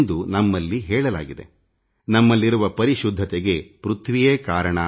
ವೇದಗಳ ಪ್ರಕಾರ ನಮ್ಮಲ್ಲಿರುವ ಪರಿಶುದ್ಧತೆಗೆ ಭೂಮಿಯೇ ಕಾರಣ